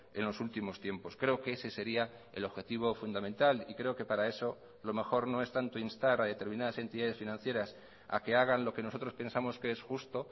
en los últimos tiempos creo que ese sería el objetivo fundamental y creo que para eso lo mejor no es tanto instar a determinadas entidades financieras a que hagan lo que nosotros pensamos que es justo